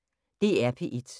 DR P1